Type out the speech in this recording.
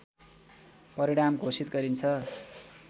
परिणाम घोषित गरिन्छ